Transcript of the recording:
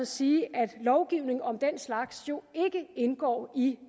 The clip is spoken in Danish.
sige at lovgivning om den slags ikke indgår i